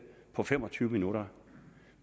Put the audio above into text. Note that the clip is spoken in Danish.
på fem og tyve minutter